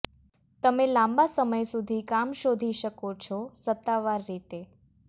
તમે લાંબા સમય સુધી કામ શોધી શકો છો સત્તાવાર રીતે